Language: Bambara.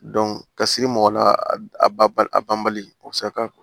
ka siri mɔgɔ la a ba a banbali o bɛ se ka